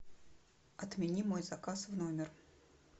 отмени мой заказ в номер